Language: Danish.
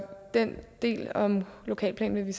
den del om lokalplanen vil